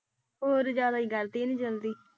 ਹੋਰ ਹੀ ਜ਼ਿਆਦਾ ਕਰਤੀ ਇਹਨੇ ਜਲਦੀ।